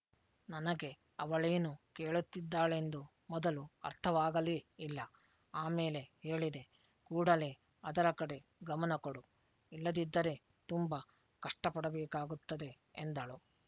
ನನಗೆ ಅವಳೇನು ಕೇಳುತ್ತಿದ್ದಾಳೆಂದು ಮೊದಲು ಅರ್ಥವಾಗಲೇ ಇಲ್ಲ ಆಮೇಲೆ ಹೇಳಿದೆ ಕೂಡಲೇ ಅದರ ಕಡೆ ಗಮನ ಕೊಡು ಇಲ್ಲದಿದ್ದರೆ ತುಂಬ ಕಷ್ಟ ಪಡಬೇಕಾಗುತ್ತದೆ ಎಂದಳು